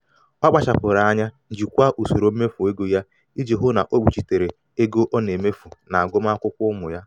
ọ kpachapụrụ anya jikwaa usoro mmefu ego ya ya iji hụ na o kpuchitere ego ọ na-emefu n'agụmakwụkwọ ụmụ ya.